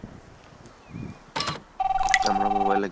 আমরা mobile এ